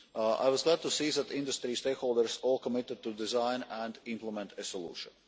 I was glad to see that industry stakeholders all committed to design and implement a solution.